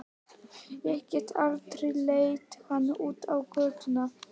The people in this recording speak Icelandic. Ég get aldrei leitt hana út á götuna.